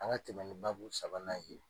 An ka tɛmɛ ni babu sabanan ye.